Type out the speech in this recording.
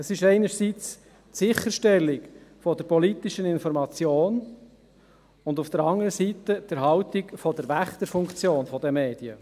Einerseits ist es die Sicherstellung der politischen Information, andererseits die Erhaltung der Wächterfunktion der Medien.